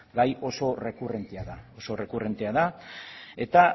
gai oso errekurrentea da oso errekurrentea da eta